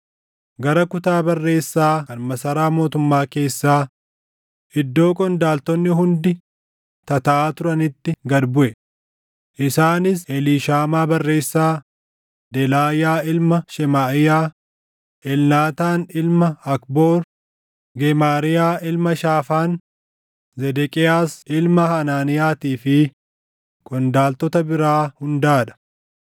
gara kutaa barreessaa kan masaraa mootummaa keessaa, iddoo qondaaltonni hundi tataaʼaa turanitti gad buʼe; isaanis Eliishaamaa barreessaa, Delaayaa ilma Shemaaʼiyaa, Elnaataan ilma Akboor, Gemaariyaa ilma Shaafaan, Zedeqiyaas ilma Hanaaniyaatii fi qondaaltota biraa hundaa dha.